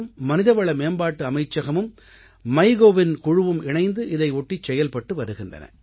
மனிதவள மேம்பாட்டு அமைச்சகமும் MyGovஇன் குழுவும் இணைந்து இதனை ஒட்டிச் செயல்பட்டு வருகின்றன